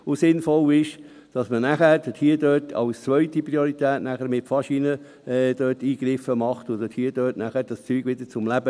und dann macht man dort als zweite Priorität Eingriffe mit Faschinen und bringt es so wieder zum Leben.